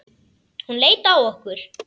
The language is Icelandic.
Og hún leit á okkur.